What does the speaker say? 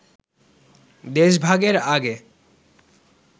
দেশভাগের আগে